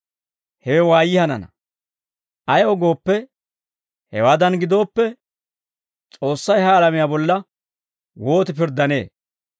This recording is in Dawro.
Hewe waayyii hanana. Ayaw gooppe, hewaadan gidooppe, S'oossay ha alamiyaa bolla wooti pirddanee?